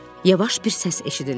Yavaş bir səs eşidildi.